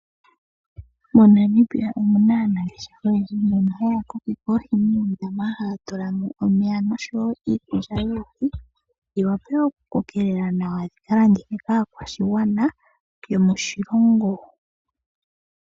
MoNamibia omuna aanangeshefa oyendji mbono haya kokeke oohi muundama haya tula mo omeya nosho wo iikulya yoohi, dhi wape okukokelela nawa dhikalandithwe kaakwashigwana yomoshilongo.